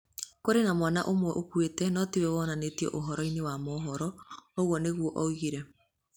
Kũrĩ na mwana ũmwe ũkuĩte no ti we wonanĩtio ũhoro-inĩ wa mohoro, ũguo nĩguo oigire.